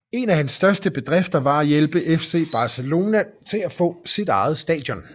En af hans største bedrifter var at hjælpe FC Barcelona til at få sit eget stadion